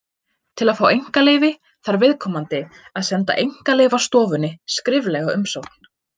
Til að fá einkaleyfi þarf viðkomandi að senda Einkaleyfastofunni skriflega umsókn.